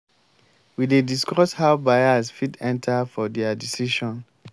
we dey discuss how bias fit enta for their decision.